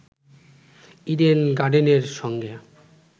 Eden গার্ডেনের সঙ্গে